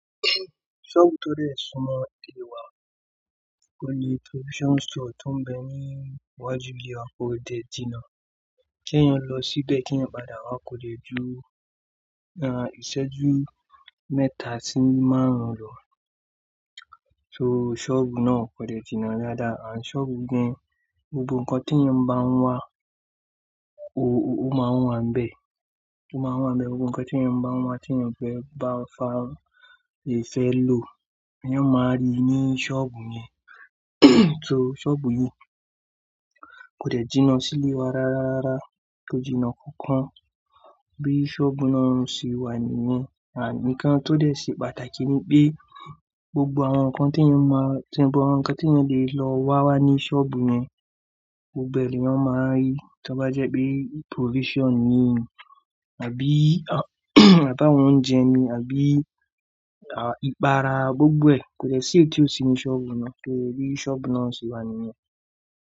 Ṣọ́ọ̀bù tó dẹ̀ sún mọ́ ilé wa, ó ní provision store tó ń bẹ ní iwájú ilé wa, kò dẹ̀ jìnà. Kí èèyàn lọ síbẹ̀ kí èèyàn padà wá kò lè ju, aah, ìṣẹ́jú mẹ́ta sí márùn-ún lò. So ṣọ́ọ̀bù náà kò dẹ̀ jìnà ldaádàá. Ànd ṣọ́ọ̀bù yi gan, gbogbo nǹkan tí èèyàn bá ń wá o-ó máa wà níbẹ̀, ó máa wà níbẹ̀. Gbogbo nǹkan tí èèyàn bá ń wá tí èèyàn bá fẹ́ bá fa, èèyàn fẹ́ lò, èèyàn máa rí ní ṣọ́ọ̀bù yẹn. So ṣọ́ọ̀bù yí kò dẹ̀ jìnà sílé wa rárá rara, kò jìnà kankan. Bí i ṣọ́ọ̀bù náà ń ṣe wà nìyẹn. Ànd nkan tó dẹ̀ ṣe pàtàkì ni pé gbogbo àwọn nǹkan tí èèyàn máa, tí gbogbo àwọn nǹkan tí èèyàn lè lọ wá wà ní ṣọ́ọ̀bù yẹn, gbogbo ni èèyàn máa rí. Tí ó bá jẹ́ pé provision ni àbí ata àwọn oúnjẹ ni àbí, à, ìpara, gbogbo ẹ̀ kò dẹ̀ sí èyí ti ò sí nínu ṣọ́ọ̀bù náà. To, bí i ṣọ́ọ̀bù náà ń ṣe wà nìyẹn.